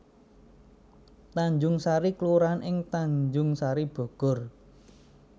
Tanjungsari kelurahan ing Tanjungsari Bogor